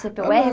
cê pê ó érre